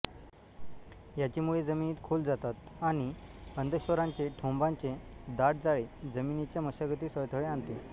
याची मुळे जमिनीत खोल जातात आणि अधश्चरांचे ठोंबांचे दाट जाळे जमिनीच्या मशागतीस अडथळे आणते